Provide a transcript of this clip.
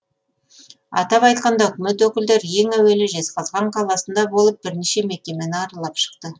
атап айтқанда үкімет өкілдері ең әуелі жезқазған қаласында болып бірнеше мекемені аралап шықты